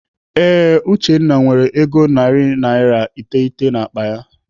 Ee, Uchenna nwere ego naira narị iteghete n'akpa ya.